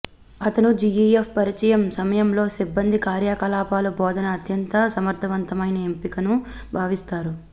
అతను జిఇఎఫ్ పరిచయం సమయంలో సిబ్బంది కార్యకలాపాలు బోధన అత్యంత సమర్థవంతమైన ఎంపికను భావిస్తారు